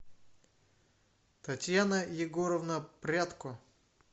татьяна егоровна прядко